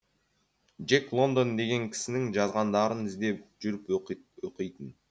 джек лондон деген кісінің жазғандарын іздеп жүріп оқитын